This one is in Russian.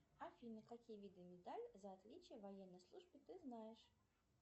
афина какие виды медалей за отличие в военной службе ты знаешь